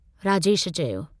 राजेश चयो।